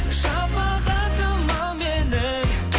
шапағатым ау менің